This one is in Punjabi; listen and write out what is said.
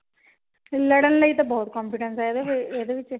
ਲੜਨ ਲਈ ਤਾ ਬਹੁਤ confidence ਹੈਂ ਇਹਦੇ ਵਿੱਚ